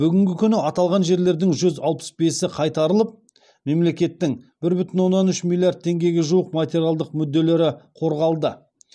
бүгінгі күні аталған жерлердің жүз алпыс бесі қайтарылып мемлекеттің бір бүтін оннан үш миллиард теңгеге жуық материалдық мүдделері қорғалды